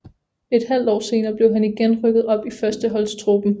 Et halv år senere blev han igen rykket op i førsteholdstruppen